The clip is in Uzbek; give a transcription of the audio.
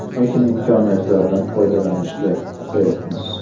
Lekin imkoniyatlardan foydalanishda oqsayapmiz.